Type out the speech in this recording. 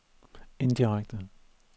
indirekte